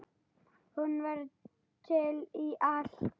Hún var til í allt.